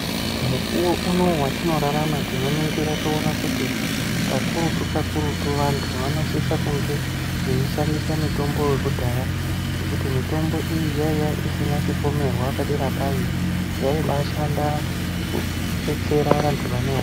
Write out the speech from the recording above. Mukuwo unowu watinorarama tinoningira toona kuti kakurutu-kakurutu vantu vanosise kunge veishandisa mutombo wekudhaya ngekuti mitombo iyi yaiya isina chipomerwa padera payo yaibashanda kubetsera vantu vane ho.